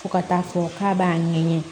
Fo ka taa fɔ k'a b'a ɲɛɲɛ